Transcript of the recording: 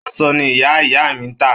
Aṣọ ni ìyá ìyá mi ń tà.